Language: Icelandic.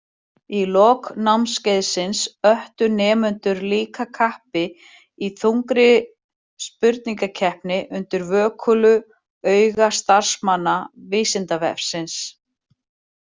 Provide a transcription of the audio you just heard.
Í lok námskeiðsins öttu nemendur líka kappi í þungri spurningakeppni undir vökulu auga starfsmanna Vísindavefsins.